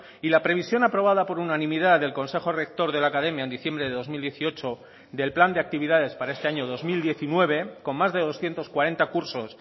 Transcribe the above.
y la previsión aprobada por unanimidad del consejo rector de la academia en diciembre de dos mil dieciocho del plan de actividades para este año dos mil diecinueve con más de doscientos cuarenta cursos